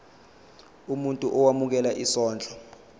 umuntu owemukela isondlo